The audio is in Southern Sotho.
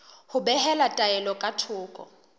ho behela taelo ka thoko